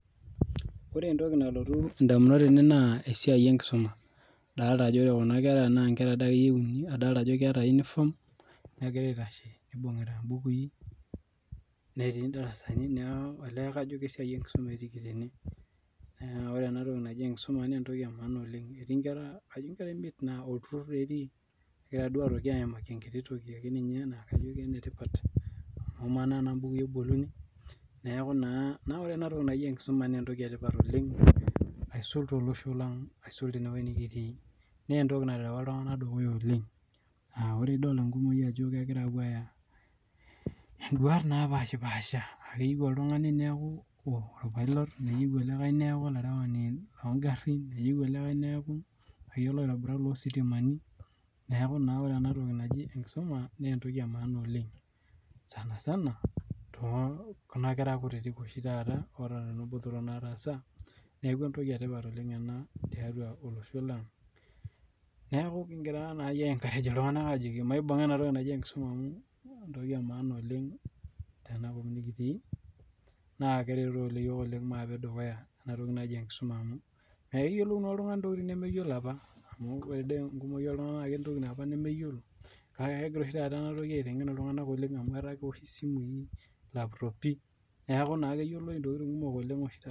Ore entoki nalotu indamunot tene naa esiai enkisuma. Adolita ajo ore kuna kera naa nkera akeyie kititi. Neibungita imbukui netii ndarasani. Olee kajo kesia enkisuma etiiki tene. Ore ena toki naji enkisuma naa entoki emaana Oleng. Etii nkera imiet naa olturur taa etii. Ekida duo aimaki enkiti toki ake naa kajo kene tipat amaa naa tenaa mbukui eboluni. Neaku naa ore enatoki naji enkisuma naa entoki etipat oleng aisul tolosho lang. Aisul tenewuji nikitii. Naa entoki naterws iltunganak dukuya oleng. Ore enkumoki ajo kegira aapuo aaya induata naapaashipaasha. Paa keyieu oltungani neaku orpilot neyieu olikai neaku olarewani loongarini neyieu olikai neeaku olaitobirani loositimani. Neaku naa ore enatoki naji enkisuma naa entoki emaana oleng. Sana sana te kuna kera kutiti oshi taata otekuna botorok naatasa. Niaku entoki tipat ena tiatua olosh lang. Niaku kingira aenkarej iltunganak ajoki maibunga enkisuma amu entoki emaana oleng tenakop nikitii naa keret oleng iyiook maape dukuya enatoki naji enkisuma amu keyiolou naa oltungani ntokitin nemeyiolo apa. Amuu ore doi enkumoki naa ketii ntokitin apa nemeyiolo kake kengira oshitaata ena toki aitengen iltunganak amu ore ake peyie ewosh isimui akkuro pii neaku naa keyiolou ntokitin kumok oshi taata.